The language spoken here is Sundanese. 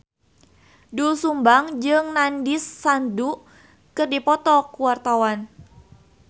Doel Sumbang jeung Nandish Sandhu keur dipoto ku wartawan